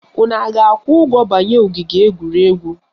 Unu a ga-akwụ ụgwọ banye ogige egwuregwu?